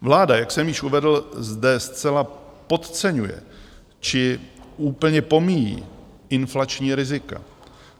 Vláda, jak jsem již uvedl, zde zcela podceňuje či úplně pomíjí inflační rizika.